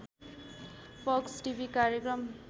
fox TV कार्यक्रम